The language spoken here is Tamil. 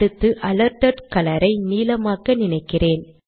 அடுத்து அலர்ட்டட் கலர் ஐ நீலமாக்க நினைக்கிறேன்